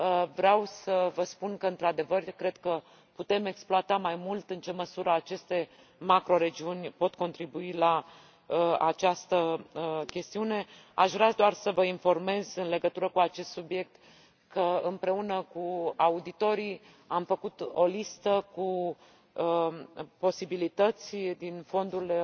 Vreau să vă spun că, într adevăr, cred că putem exploata mai mult măsura în care aceste macroregiuni pot contribui la această chestiune. Aș vrea doar să vă informez în legătură cu acest subiect că, împreună cu auditorii, am făcut o listă cu posibilități din fondurile